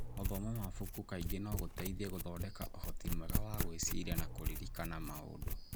Gũthoma mabuku kaingĩ no gũteithie gũthondeka ũhoti mwega wa gwĩciria na kũririkana maũndũ.